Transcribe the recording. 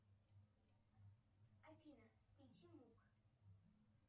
афина включи мук